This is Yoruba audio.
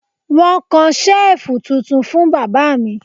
Wọ́n kan Ṣẹ́ẹ̀fù tuntun fún bàbá mi